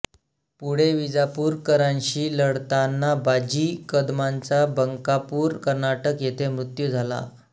पुढे विजापूरकारांशी लढताना बाजी कदमांचा बंकापूर कर्नाटक येथे मृत्यू झाला